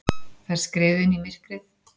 Þær skriðu inn í myrkrið.